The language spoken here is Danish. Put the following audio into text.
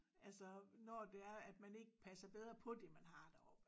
Altså når det er at man ikke passer bedre på det man har deroppe